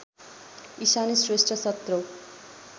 इशानी श्रेष्ठ सत्रौँ